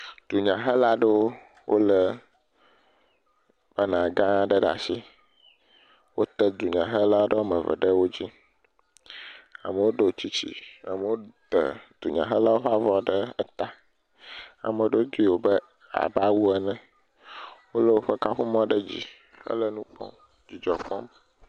Dunyhelaɖewo lé bana gã aɖe ɖe asi, wota dunyahela eve ɖe edzi, amewo ɖɔ tsitsi aye amewo ta dunyahela ƒe avɔ ɖe ta, ame aɖewo dui abe awu ene, wole woƒe kaƒomɔ ɖe dzi hele nu kpɔm, dzidzɔ kpɔm